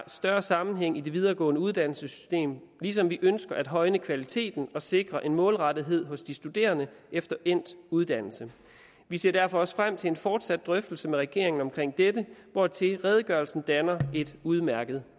større sammenhæng i det videregående uddannelsessystem ligesom vi ønsker at højne kvaliteten og sikre en målrettethed hos de studerende efter endt uddannelse vi ser derfor også frem til en fortsat drøftelse med regeringen omkring dette hvortil redegørelsen danner et udmærket